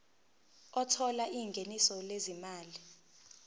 othola ingeniso lezimali